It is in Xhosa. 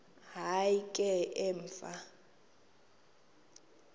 hayi ke emva